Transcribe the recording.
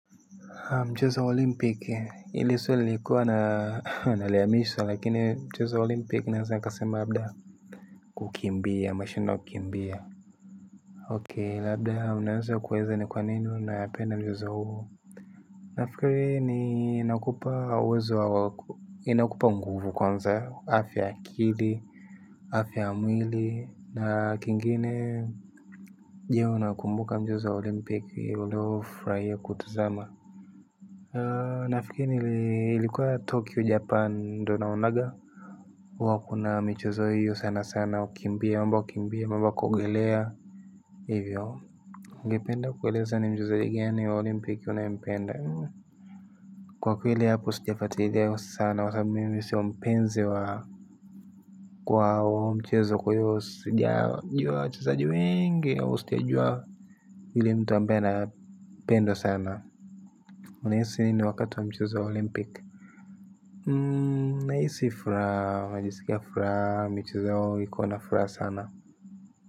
Mchezo wa olimpiki ili swali nilikuwa na naliyamishwa lakini mchezo wa olimpiki naweza nikasema labda. Kukimbia mashino kukimbia Okei labda unaanza kuweza ni kwa nini unayapenda mchezo huu. Nafikiri ni nakupa uwezo wa wako inakupa mguvu kwanza afia ya akili afia ya mwili na kingine je unakumbuka mchezo wa olimpiki ulio furahia kutazama nafikiria ilikuwa tokyo japan ndio naonanaga wako na mchezo huo sanasana kukimbia ama kuogelea hivyo. Ungependa kueleza ni mchezo gani ya Olimpiki unaempenda. Kwa kweli hapo sijipata idheo sana wasabu mimi sio mpenzi wa kwa mchezo kwa hiyo sijajua wachezaji wengi au sijajua yule mtu ambae anapendwa sana. Unahisi nini wakati wa mchezo wa olimpiki nahisi furaha najiskia furaha michezo yao iko nafuraha sana.